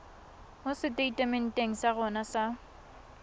mo seteitementeng sa rona sa